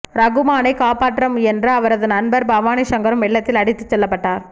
ரகுமானை காப்பாற்ற முயன்ற அவரது நண்பர் பவானி சங்கரும் வெள்ளத்தில் அடித்து செல்லப்பட்டார்